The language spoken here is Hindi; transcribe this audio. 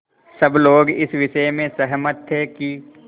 सब लोग इस विषय में सहमत थे कि